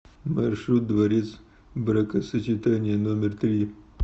маршрут дворец бракосочетания номер три